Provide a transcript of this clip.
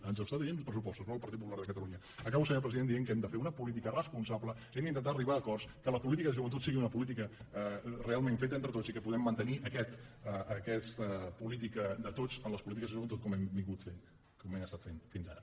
ens ho està dient pressupostos no el partit popular de catalunya acabo senyor president dient que hem de fer una política responsable hem intentar arribar a acords que la política de joventut sigui una política realment feta entre tots i que puguem mantenir aquesta política de tots en les polítiques de joventut com hem estat fent com hem estat fent fins ara